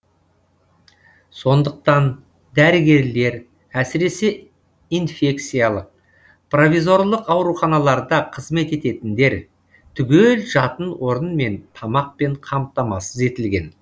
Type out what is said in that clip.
сондықтан дәрігерлер әсіресе инфекциялық провизорлық ауруханаларда қызмет ететіндер түгел жатын орынмен тамақпен қамтамасыз етілген